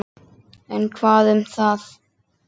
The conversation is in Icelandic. En hvað um það!